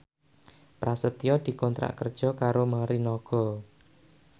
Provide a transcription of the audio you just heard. Prasetyo dikontrak kerja karo Morinaga